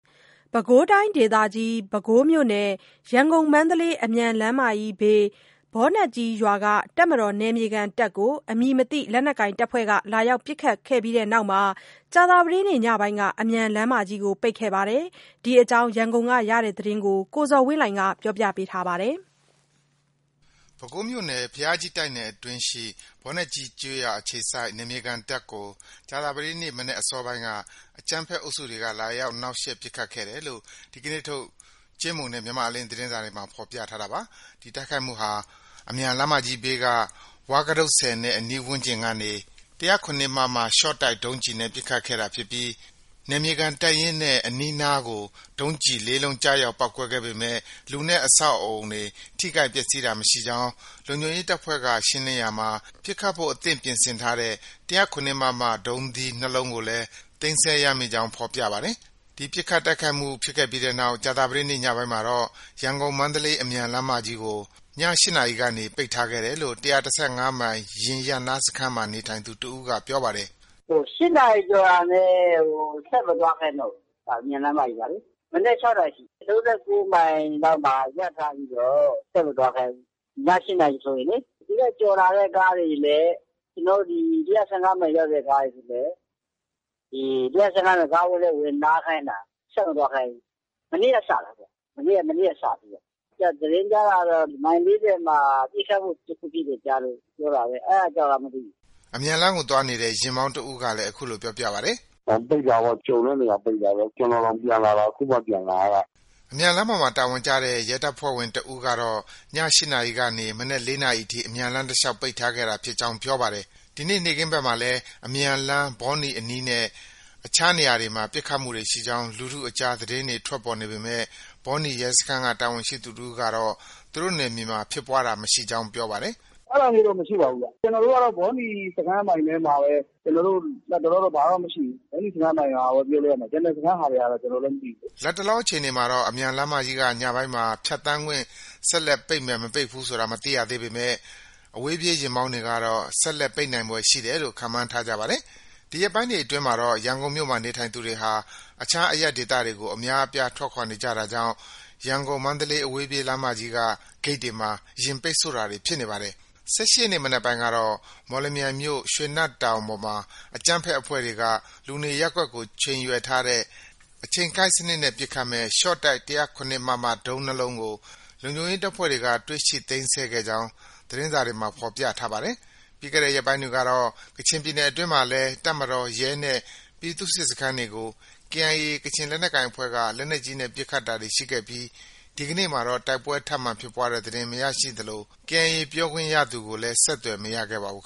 ပဲခူးတိုင်းဒေသကြီး၊ ပဲခူးမြို့နယ် ရန်ကုန်- မန္တလေး အမြန်လမ်းမကြီးဘေး ဘောနက်ကြီးရွာက တပ်မတော် နယ်မြေခံတပ်ကို အမည်မသိ လက်နက်ကိုင်တပ်ဖွဲ့က လာရောက်ပစ်ခတ်ပြီးတဲ့နောက်ကြာသပတေးနေ့ ညပိုင်းက အမြန်လမ်းမကြီးကို ပိတ်ခဲ့ပါတယ်။ ဒီအကြောင်း ရန်ကုန်ကရတဲ့သတင်းကို ကိုဇော်ဝင်းလှိုင်က တင်ပြထားပါတယ်။ ပဲခူးမြို့နယ် ဘုရားကြီး တိုက်နယ်အတွင်းရှိ ဘောနက်ကြီးကျေးရွာအခြေစိုက် နယ်မြေခံတပ်ကို ကြာသပတေးနေ့ မနက်အစောပိုင်းက အကြမ်းဖက်အုပ်စုတွေက လာရောက် နှောက်ယှက် ပစ်ခတ်ခဲ့တယ်လို့ ဒီနေ့ထုတ် ကြေးမှုနဲ့ မြန်မာ့အလင်းသတင်းစာတွေမှာ ဖော်ပြထားတာပါ။ ဒီတိုက်ခိုက်မှုဟာ အမြန်လမ်းမကြီးဘေးက ဝါးကတုတ်ဆည်နဲ့ အနီးဝန်းကျင်ကနေ ၁၀၇မမ ရှော့တိုက် ဒုံးကျည်နဲ့ ပစ်ခတ်ခဲ့တာဖြစ်ပြီး နယ်မြေခံတပ်ရင်းနဲ့ အနီးအနားကို ဒုံးသီး ၄လုံးကျရောက်ပေါက်ကွဲခဲ့ပေမဲ့ လူနဲ့ အဆောင်အဦးတွေ ထိခိုက်ပျက်ဆီးတာမရှိကြောင်း၊ လုံခြုံရေး တပ်ဖွဲ့က ရှင်းလင်းရာမှာ ပစ်ခတ်ဖို့ အသင့်ပြင်ဆင်ထားတဲ့ ၁၀၇မမ ဒုံးသီး ၂လုံးကိုလည်း သိမ်းဆည်းရမိကြောင်း ဖော်ပြပါတယ်။ ဒီပစ်ခတ်တိုက်ခိုက်မှုဖြစ်ခဲ့ပြီးနောက် ကြာသပတေးနေ့ ညပိုင်းမှာတော့ ရန်ကုန်- မန္တလေး အဝေးပြေးလမ်းကို ည ၈နာရီကနေ ပိတ်ထားခဲ့တယ်လို့ ၁၁၅မိုင် ယာဉ်ရပ်နားစခန်းမှာ နေထိုင်သူတစ်ဦးက ပြောပါတယ်။ “ ၈နာရီကျော်တာနဲ့ ဆက်မသွားခိုင်းတော့ဘူး။ အမြန်လမ်းကြီးမှာလေ။ မနက် ၆နာရီထိ။ ၃၉မိုင်လောက်မှာ ရပ်ထားပြီးတော့ ဆက်မသွားခိုင်းဘူး။ ည ၈နာရီဆိုရင်လေ။ သူ့ထက်ကျော်လာတဲ့ကားတွေလည်း ၁၁၅မိုင်ရောက်တော့ ၁၁၅မိုင်ကားဝင်းထဲ ဝင်နားခိုင်းတာ ဆက်မသွားခိုင်းဘူး။ မနေ့က စတာ။ မနေ့က စတာ။ သတင်းကြားတာကတော့ မိုင် ၄၀မှာ ပစ်ခတ်မှုဖြစ်လို့ ကြားတာပဲ။ အဲဒါကြောင့်လား မသိဘူး။” အမြန်လမ်းကို သွားလာနေတဲ့ ယာဉ်မောင်း တစ်ဦးကလည်း အခုလို ပြောပါတယ်။ “ ပိတ်တာပေါ့။ ကြုံတဲ့နေရာ ပိတ်တာပဲ။ ကျနော်တောင် ပြန်လာတာ အခုမှ ပြန်လာရတာ။” အမြန်လမ်းပေါ်မှာ တာဝန်ကျတဲ့ ရဲတပ်ဖွဲ့ဝင် တစ်ဦးကတော့ ည ၈နာရီကနေ မနက် ၄နာရီထိ အမြန်လမ်းတစ်လျောက် ပိတ်ခဲ့တာဖြစ်ကြောင်းပြောပါတယ်။ ဒီနေ့ နေ့ခင်းဘက်မှာလည်း အမြန်လမ်း ဘောနီအနီးနဲ့ အခြားနေရာတွေမှာ ပစ်ခတ်မှုတွေရှိကြောင်း လူထုအကြား သတင်းတွေ ထွက်ပေါ်နေပေမဲ့ ဘောနီရဲစခန်းကတာဝန်ရှိသူတစ်ဦးကတော့ သူတို့နယ်မြေမှာ ဖြစ်ပွားတာ မရှိကြောင်း ပြောပါတယ်။ “ အဲဒါမျိုးတော့ ဘာမှ မရှိဘူးဗျ။ ကျနော်တို့ကတော့ ဘောနီ စခန်းအပိုင်ထဲမှာပဲ လတ်တလောတော့ ဘာမှ မရှိဘူး။ ဘောနီစခန်းအပိုင်ဟာပဲ ပြောလို့ရမယ်။ ကျန်စခန်းကတော့ ဘာမှ မသိဘူး။ ” လတ်တလောအခြေအနေမှာတော့ အမြန်လမ်းမကြီးက ညပိုင်းမှာ ဖြတ်သန်းခွင့် ဆက်လက် ပိတ်မယ် မပိတ်ဘူးဆိုတာ မသိရသေးပေမဲ့ အဝေးပြေးယာဉ်မောင်းတွေကတော့ ဆက်လက်ပိတ်နိုင်ဖွယ်ရှိတယ်လို့ ခန့်မှန်းထားကြပါတယ်။ ဒီရက်ပိုင်းတွေအတွင်းမှာတော့ ရန်ကုန်မြို့မှာနေထိုင်သူတွေဟာ အခြားအရပ်ဒေသတွေကို အများအပြား ထွက်ခွာနေတာကြောင့် ရန်ကုန် မန်း အဝေးပြေးလမ်းက ဂိတ်တွေမှာ ယာဉ်ပိတ်ဆို့တာတွေ ဖြစ်နေပါတယ်။ ၁၈ရက်နေ့ မနက်ပိုင်းကတော့ မော်လမြိုင်မြို့ ရွှေနတ်တောင် ပေါ်မှာ အကြမ်းဖက်အဖွဲ့တွေက လူနေရပ်ကွက်ကို ချိန်ရွယ်ထားတဲ့ အချိန်ကိုက်စနစ်နဲ့ ပစ်ခတ်မယ့် ရှော့တိုက် ၁၀၇မမ ဒုံး၂လုံးကို လုံခြုံရေးတပ်ဖွဲ့က တွေ့ရှိ သိမ်းဆည်းခဲ့ကြောင်း စစ်ကောင်စီသတင်းစာတွေမှာ ဖော်ပြထားပါတယ်။ ပြီးခဲ့တဲ့ရက်ပိုင်းတွေကတော့ ကချင်ပြည်နယ်အတွင်းမှာလည်း တပ်မတော်၊ ရဲနဲ့ ပြည်သူ့စစ်တပ်စခန်းတွေကို KIA ကချင်လက်နက်ကိုင်အဖွဲ့က လက်နက်ကြီးနဲ့ပစ်ခတ်တာတွေ ရှိခဲ့ပြီး ဒီကနေ့မှာတော့ တိုက်ပွဲထပ်မံဖြစ်ပွားတဲ့သတင်း မရရှိသလို KIA ပြောခွင့်ရသူကိုလည်း ဆက်သွယ် မရခဲ့ပါဘူး